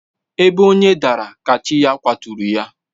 Ebe onye daara ka chi ya kwaturu ya.